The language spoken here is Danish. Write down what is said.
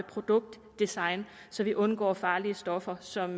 produktdesign så vi undgår farlige stoffer som